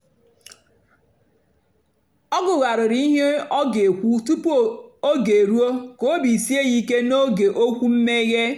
ọ gụ̀ghàrị̀rị́ ihe ọ ga-èkwú tupu ógè èrùó kà óbì síè ya ìké n'ógè okwu mmèghé.